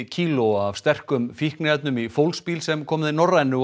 kílóa af sterkum fíkniefnum í fólksbíl sem kom með Norrænu